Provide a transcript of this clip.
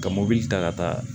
Ka mobili ta ka taa